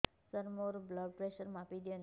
ସାର ମୋର blood pressure ମାପି ଦିଅନ୍ତୁ